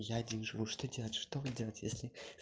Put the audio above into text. я один живу что делать что мне делать если